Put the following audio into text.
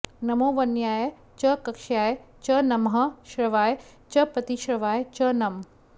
नमो वन्याय च कक्ष्याय च नमः श्रवाय च प्रतिश्रवाय च नम